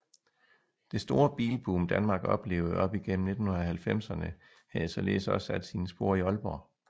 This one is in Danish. Det store bilboom Danmark oplevede op igennem 1990erne havde således også sat sine spor i Aalborg